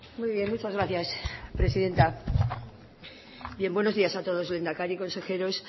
muy bien muchas gracias presidenta buenos días a todos lehendakari consejeros